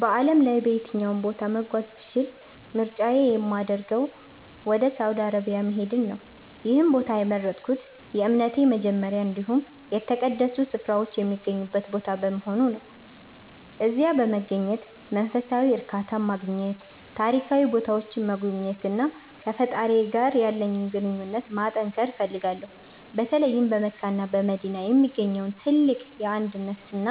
በዓለም ላይ በየትኛውም ቦታ መጓዝ ብችል ምርጫዬ የሚያደርገው ወደ ሳውዲ አረቢያ መሄድን ነው። ይህን ቦታ የመረጥኩት የእምነቴ መጀመሪያ እንዲሁም የተቀደሱ ስፍራዎች የሚገኙበት ቦታ በመሆኑ ነው። እዚያ በመገኘት መንፈሳዊ እርካታን ማግኘት፤ ታሪካዊ ቦታዎችን መጎብኘትና ከፈጣሪዬ ጋር ያለኝን ግንኙነት ማጠንከር እፈልጋለሁ። በተለይም በመካና በመዲና የሚገኘውን ትልቅ የአንድነትና